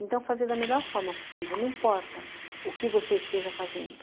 Então, fazer da melhor forma possível, não importa o que você esteja fazendo.